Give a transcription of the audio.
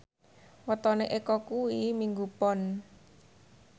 wetone Eko kuwi Minggu Pon